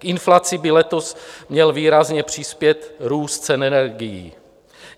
K inflaci by letos měl výrazně přispět růst cen energií.